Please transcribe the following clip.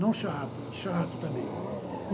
Não chato e chato também.